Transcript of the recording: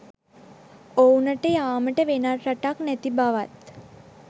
ඔවුනට යාමට වෙනත් රටක් නැති බවත්